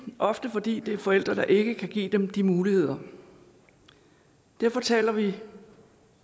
ofte fordi det er forældre der ikke kan give dem de muligheder derfor taler vi